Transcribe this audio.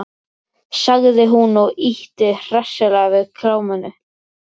sagði hún og ýtti hressilega við Kamillu.